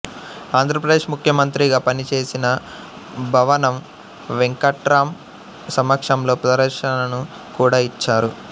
ఆంధ్రప్రదేశ్ ముఖ్యమంత్రిగా పనిచేసిన భవనం వెంకట్రాం సమక్షంలో ప్రదర్శనను కూడా యిచ్చారు